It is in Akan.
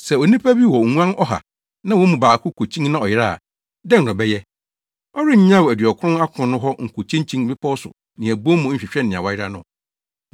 “Sɛ onipa bi wɔ nguan ɔha, na wɔn mu baako kokyin na ɔyera a, dɛn na ɔbɛyɛ? Ɔrennyaw aduɔkron akron no hɔ nkokyinkyin mmepɔw so ne abon mu nhwehwɛ nea wayera no?